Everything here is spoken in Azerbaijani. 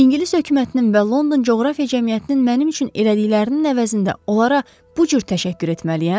İngilis hökumətinin və London coğrafiya cəmiyyətinin mənim üçün elədiklərinin əvəzində onlara bu cür təşəkkür etməliyəm?